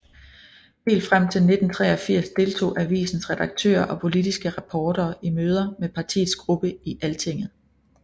Helt frem til 1983 deltog avisens redaktører og politiske reportere i møder med partiets gruppe i Altinget